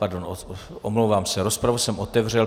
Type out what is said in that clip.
Pardon, omlouvám se, rozpravu jsem otevřel.